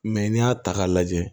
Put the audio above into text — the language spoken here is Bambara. Mɛ n'i y'a ta k'a lajɛ